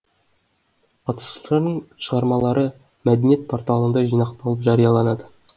қатысушылардың шығармалары мәдениет порталында жинақталып жарияланады